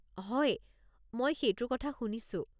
হয়, মই সেইটোৰ কথা শুনিছোঁ।